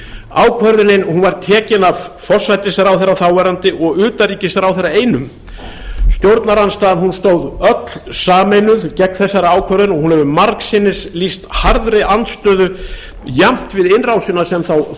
ákvörðunin var tekin af forsætisráðherra þáverandi og utanríkisráðherra einum stjórnarandstaðan stóð öll sameinuð gegn þessari ákvörðun og hún hefur margsinnis lýst harðri andstöðu jafnt við innrásina sem þá